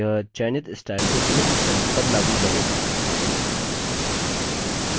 यह चयनित स्टाइल को चुनित cells पर लागू करेगा